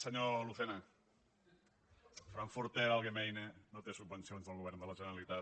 senyor lucena el frankfurter allgemeine no té subvencions del govern de la generalitat